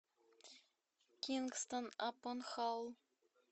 кингстон апон халл